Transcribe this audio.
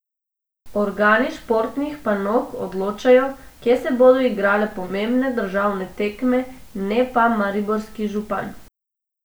Organi športnih panog odločajo, kje se bodo igrale pomembne državne tekme, ne pa mariborski župan.